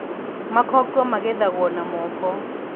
Makongo magethagwo na moko.